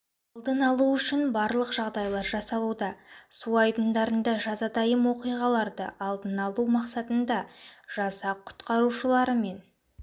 алдын алу үшін барлық жағдайлар жасалуда су айдындарында жазатайым оқиғаларды алдын алу мақсатында жасақ құтқарушыларымен